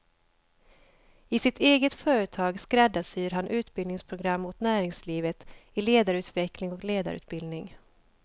I sitt eget företag skräddarsyr han utbildningsprogram åt näringslivet i ledarutveckling och ledarutbildning.